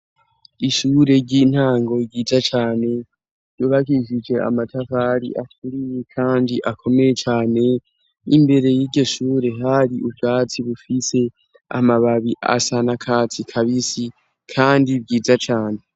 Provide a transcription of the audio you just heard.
Ishure ry'intango ryiza cane, ryubakishije amatafari aturiye kandi akomeye cane, n'imbere y'iryo shure, hari ubwatsi bufise amababi asa nakatsi kabisi kandi vyiza cane.